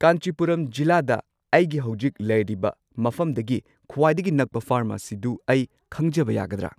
ꯀꯥꯟꯆꯤꯄꯨꯔꯝ ꯖꯤꯂꯥꯗ ꯑꯩꯒꯤ ꯍꯧꯖꯤꯛ ꯂꯩꯔꯤꯕ ꯃꯐꯝꯗꯒꯤ ꯈ꯭ꯋꯥꯏꯗꯒꯤ ꯅꯛꯄ ꯐꯥꯔꯃꯥꯁꯤꯗꯨ ꯑꯩ ꯈꯪꯖꯕ ꯌꯥꯒꯗ꯭ꯔꯥ?